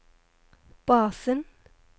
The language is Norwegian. basen